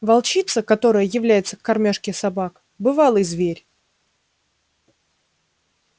волчица которая является к кормёжке собак бывалый зверь